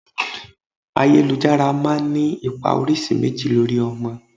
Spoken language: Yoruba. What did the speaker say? Ayélujára máa ń ní ipa oríṣi méjì lórí ọmọ.